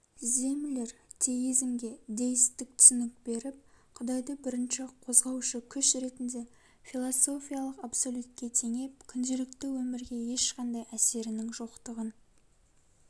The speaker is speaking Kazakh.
землер теизмге деисттік түсінік беріп құдайды бірінші козғаушы күш ретінде философиялық абсолютке теңеп күнделікті өмірге ешқандай әсерінің жоқтығын